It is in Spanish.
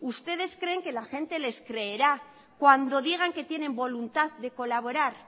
ustedes creen que la gente les creerá cuando digan que tienen voluntad de colaborar